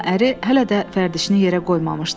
Amma əri hələ də vərdişini yerə qoymamışdı.